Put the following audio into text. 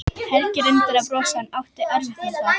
Helgi reyndi að brosa en átti erfitt með það.